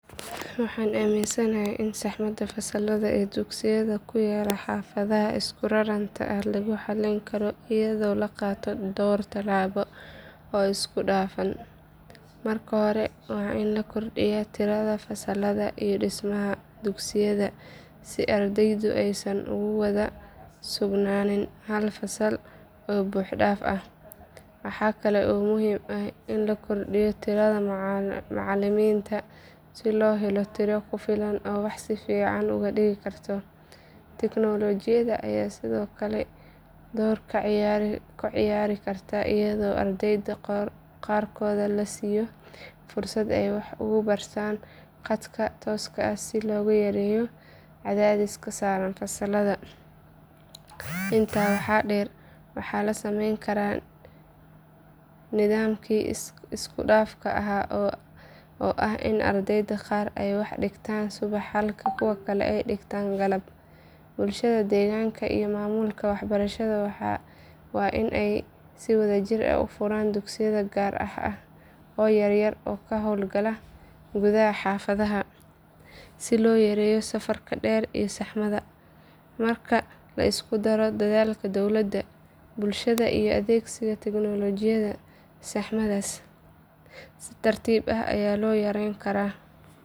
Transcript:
Waxaan aaminsanahay in saxmada fasallada ee dugsiyada ku yaalla xaafadaha isku raranta ah lagu xallin karo iyadoo la qaato dhowr tallaabo oo isku dhafan. Marka hore waa in la kordhiyaa tirada fasallada iyo dhismaha dugsiyada si ardaydu aysan ugu wada sugnaanin hal fasal oo buux dhaaf ah. Waxaa kale oo muhiim ah in la kordhiyo tirada macalimiinta si loo helo tiro ku filan oo wax si fiican u dhigi kara. Tignoolajiyada ayaa sidoo kale door ka ciyaari karta iyadoo ardayda qaarkood la siiyo fursad ay wax uga bartaan khadka tooska ah si loogu yareeyo cadaadiska saaran fasalka. Intaa waxaa dheer waxaa la samayn karaa nidaamkii isku dhafka ahaa oo ah in ardayda qaar ay wax dhigtaan subax halka kuwa kale ay dhigtaan galab. Bulshada deegaanka iyo maamulka waxbarashada waa in ay si wadajir ah u furaan dugsiyo gaar ah oo yar yar oo ka hawlgala gudaha xaafadaha si loo yareeyo safarka dheer iyo saxmadda. Marka la isku daro dadaalka dowladda, bulshada iyo adeegsiga tignoolajiyada saxmaddaas si tartiib ah ayaa loo yarayn karaa.